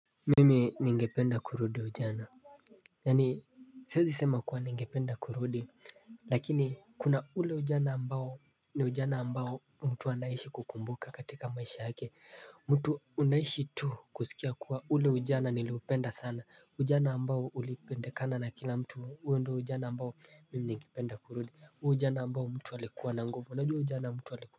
Mimi ningependa kurudi ujana Yaani siwezi sema kuwa ningependa kurudi lakini kuna ule ujana ambao ni ujana ambao mtu anaishi kukumbuka katika maisha yake mtu unaishi tu kusikia kuwa ule ujana niliupenda sana ujana ambao ulipendekana na kila mtu huo ndio ujana ambao ni ningependa kurudi ujana ambao mtu alikuwa na nguvu na juu ujana mtu walikuwa.